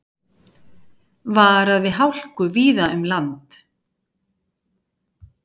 Varað við hálku víða um land